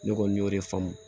Ne kɔni y'o de faamu